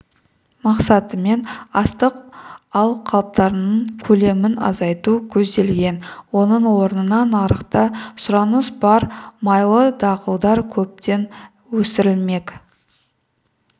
мақсатымен астық алқаптарының көлемін азайту көзделген оның орнына нарықта сұраныс бар майлы дақылдар көптеп өсірілмек